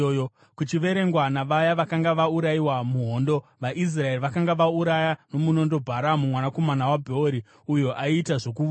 Kuchiverengwa navaya vakanga vaurayiwa muhondo, vaIsraeri vakanga vauraya nomunondo Bharamu mwanakomana waBheori uyo aiita zvokuvuka.